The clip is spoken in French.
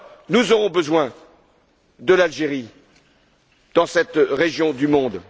Nous aurons besoin de l'Algérie dans cette région du monde.